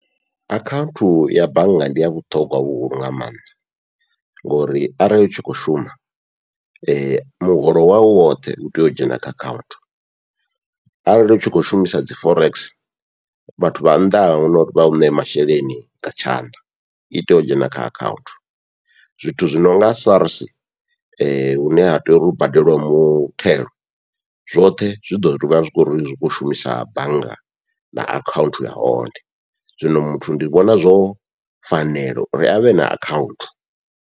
Akhaunthu ya bannga ndi ya vhuṱhogwa vhuhulu nga maanḓa, ngori arali utshi kho shuma muholo wawu woṱhe utea u dzhena kha akhaunthu arali u tshi kho shumisa dzi forex vhathu vha nnḓa ahuna uri vhau ṋee masheleni nga tshanḓa, i tea u dzhena kha akhaunthu. Zwithu zwi nonga SARS hune ha tea uri hu badelwe muthelo zwoṱhe zwi ḓo ḓivha zwi khou kho shumisa bannga na akhaunthu ya hone, zwino muthu ndi vhona zwo fanela uri avhe na akhaunthu.